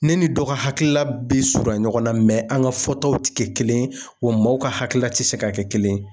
Ne ni dɔ ka hakilila bɛ surunya ɲɔgɔnna mɛ an ka fɔtaw tɛ kɛ kelen ye wa mɔɔw ka hakilila tɛ se ka kɛ kelen ye.